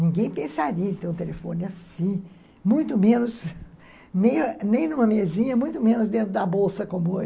Ninguém pensaria em ter um telefone assim, muito menos, nem numa mesinha, muito menos dentro da bolsa como hoje.